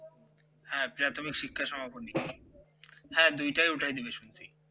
হ্যাঁ প্রাথমিক শিক্ষা সমাপনী হ্যাঁ দুইটাই উঠায়ে দেবে শুনছি